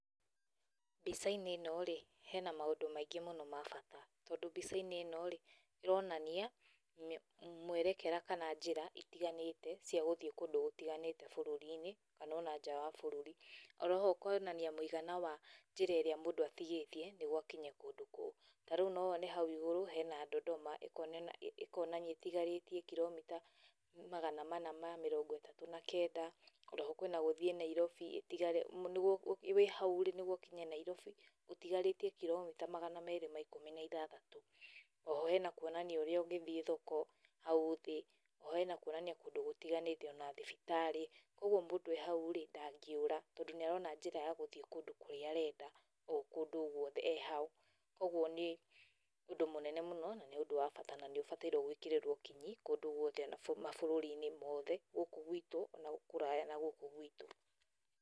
Mbica-inĩ ĩno rĩ, hena maũndũ maingĩ mũno ma bata. Tondũ mbica-inĩ rĩ, ĩronania mwerekera kana njĩra itiganĩte cia gũthiĩ kũndũ gũtiganĩte bũrũri-inĩ kana ona nja wa bũrũri. Oroho ĩkonania mũigana wa njĩra ĩrĩa mũndũ atigĩtie, nĩguo akinye kũndũ kou. Ta rĩu no wone hau igũrũ hena Dondoma, ĩkonania ĩtigarĩtie kiromita magana mana ma mĩrongo ĩtatũ na kenda, oroho kwĩna gũthiĩ Nairobi, wĩ hau, nĩguo ũkinye Nairobi, ũtigarĩtie kiromita magana merĩ ma ikũmi na ithathatũ. Oho hena kuonania ũrĩa ũngĩthiĩ thoko hau thĩ, oho hena kuonania kũndũ gũtiganĩte ona thibitarĩ, koguo mũndũ e hau rĩ, ndangĩũra tondũ nĩ arona njĩra ya gũthiĩ kũndũ kũrĩa arenda, o kũndũ guothe e hau. Kũguo nĩ ũndũ mũnene mũno na nĩ ũndũ wa bata na nĩ ũbatairwo gwĩkĩrĩrwo kinyi kũndũ guothe ona mabũrũri-inĩ mothe, gũkũ gwitũ ona kũraya na gũkũ gwitũ.